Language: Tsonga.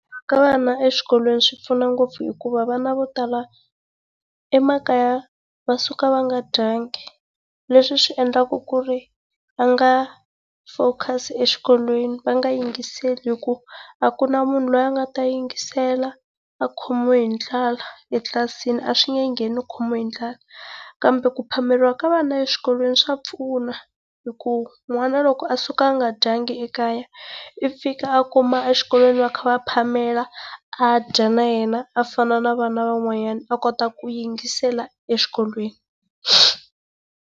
Ka vana eswikolweni swi pfuna ngopfu hikuva vana vo tala emakaya va suka va nga dyanga leswi swi endlaka ku ri vanga focus exikolweni va nga yingisile hi ku a ku na munhu loyi a nga ta yingisela a khomiwe hi ndlala etlilasini a swi nge nggeni u khumiwe hi ndlala. Kambe ku phameriwa ka vana eswikolweni swa pfuna hikuva n'wana loko a suka a nga dyanga ekaya, i fika a kuma exikolweni va kha va phamela, a dya na yena a fana na vana van'wanyana a kota ku yingisela exikolweni.